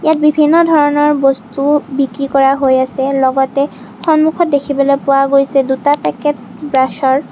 বিভিন্ন ধৰণৰ বস্তু বিক্ৰী কৰা হৈ আছে লগতে সন্মুখত দেখিবলৈ পোৱা গৈছে দুটা পেকেট ব্ৰাচৰ।